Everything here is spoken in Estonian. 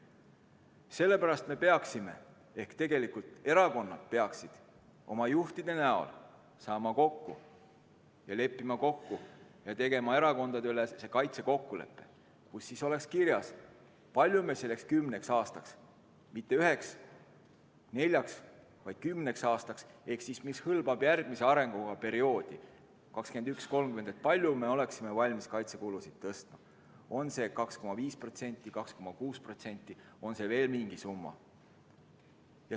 Sellepärast peaksime, tegelikult erakonnad või erakondade juhid peaksid saama kokku ja tegema erakondadeülese kaitsekokkuleppe, kus oleks kirjas, kui palju me selleks kümneks aastaks, mitte üheks ega neljaks, vaid kümneks aastaks, mis hõlmab järgmise arengukava perioodi 2021–2030, oleksime valmis kaitsekulusid tõstma, on see 2,5%, 2,6% või on see veel mingi teine summa.